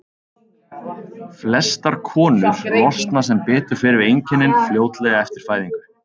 Flestar konur losna sem betur fer við einkennin fljótlega eftir fæðingu.